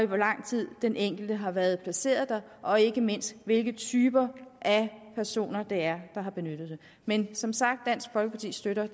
hvor lang tid den enkelte har været placeret der og ikke mindst hvilke typer af personer det er der har benyttet dem men som sagt støtter